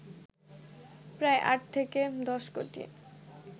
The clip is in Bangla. প্রায় ৮ থেকে ১০ কোটি